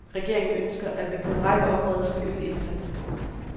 Regeringen ønsker, at vi på en række områder skal øge indsatsen.